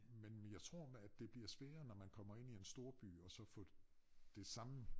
Men jeg tror at det bliver sværere når man kommer ind i en storby at så få det samme